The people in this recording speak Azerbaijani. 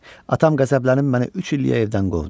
Atam qəzəblənib məni üç illiyə evdən qovdu.